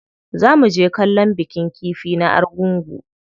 Za muje kallon bikin kifi na Argungu.